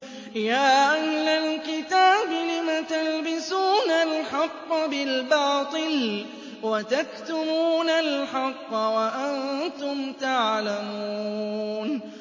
يَا أَهْلَ الْكِتَابِ لِمَ تَلْبِسُونَ الْحَقَّ بِالْبَاطِلِ وَتَكْتُمُونَ الْحَقَّ وَأَنتُمْ تَعْلَمُونَ